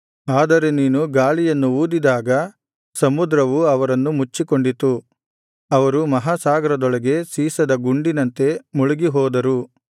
ಆದರೆ ನೀನು ಗಾಳಿಯನ್ನು ಊದಿದಾಗ ಸಮುದ್ರವು ಅವರನ್ನು ಮುಚ್ಚಿಕೊಂಡಿತು ಅವರು ಮಹಾಸಾಗರದೊಳಗೆ ಸೀಸದ ಗುಂಡಿನಂತೆ ಮುಳುಗಿಹೋದರು